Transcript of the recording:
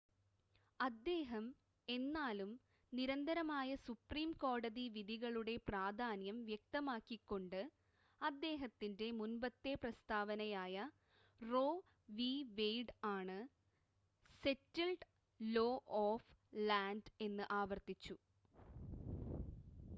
"അദ്ദേഹം എന്നാലും നിരന്തരമായ സുപ്രീം കോടതി വിധികളുടെ പ്രധാന്യം വ്യക്തമാക്കി കൊണ്ട് അദ്ദേഹത്തിന്റെ മുൻപത്തെ പ്രസ്താവനയായ റോ വി. വെയിഡ് ആണ് "സെറ്റിൽഡ്‌ ലോ ഓഫ് ലാൻഡ്" എന്ന് ആവർത്തിച്ചു.